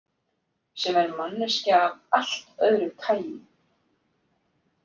Sem er manneskja af allt öðru tagi.